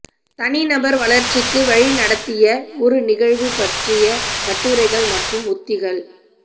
தனிநபர் வளர்ச்சிக்கு வழிநடத்திய ஒரு நிகழ்வு பற்றிய கட்டுரைகள் மற்றும் உத்திகள்